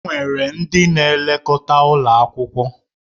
Enwere ndị na-elekọta ụlọ akwụkwọ.